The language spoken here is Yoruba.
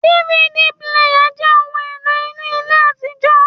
DVD píléyà jẹ́ ohun èlò inú ilé àtijọ́